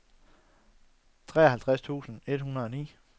treoghalvtreds tusind et hundrede og ni